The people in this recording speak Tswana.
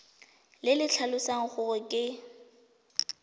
le le tlhalosang gore ke